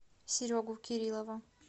серегу кирилова